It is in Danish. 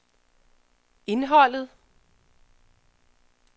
indholdet